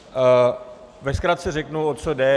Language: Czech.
Ve zkratce řeknu, o co jde.